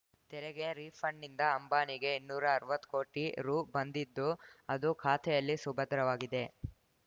ತೆರಿಗೆ ರೀಫಂಡ್‌ನಿಂದ ಅಂಬಾನಿಗೆ ಇನ್ನೂರ ಅರ್ವತ್ತು ಕೋಟಿ ರು ಬಂದಿದ್ದು ಅದು ಖಾತೆಯಲ್ಲಿ ಸುಭದ್ರವಾಗಿದೆ